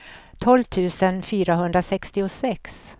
tolv tusen fyrahundrasextiosex